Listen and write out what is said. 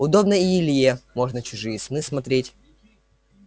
удобно и илье можно чужие сны смотреть